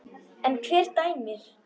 En hver dæmir?